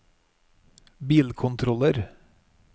bilkontroller